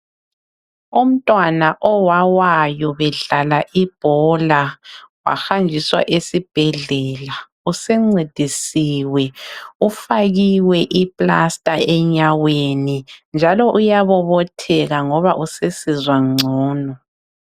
Umntwana owawayo bedlala ibhola wahanjiswa esibhedlela usencedisiwe ufakiwe ipasta enyaweni njalo uyabobotheka ngoba usesizwa ngcono.